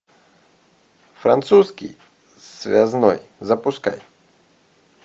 французский связной запускай